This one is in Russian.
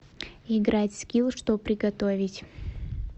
играть в скилл что приготовить